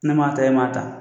Ne m'a ta e m'a ta